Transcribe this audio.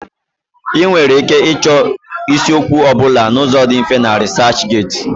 Ị nwere ike ịchọ isiokwu ọ bụla n'ụzọ dị mfe na RịsaachGeti.